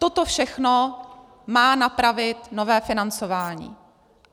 Toto všechno má napravit nové financování.